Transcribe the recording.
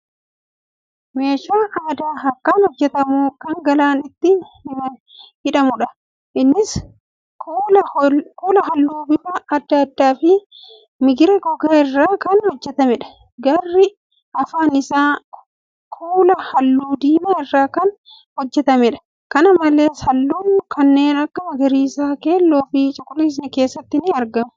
Meeshaa aadaa harkaan hojjatamu kan galaan ittiin hidhamuudha. Innis kuula halluu bifa adda addaa fi migira goggogaa irraa kan hojjatameedha. Garri afaan isaa kuula halluu diimaa irraa kan hojjatameedha. Kana malees, halluun kanneen akka magariisa, keelloo fi cuquliisni keessatti ni argamu.